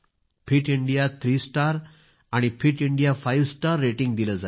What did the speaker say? fit India three star आणि fit India five star rating दिले जाईल